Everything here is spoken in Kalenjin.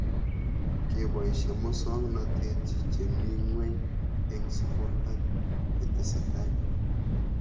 Kepoishe muswognatet che mii ng'weny eng' sukul ak yetesetai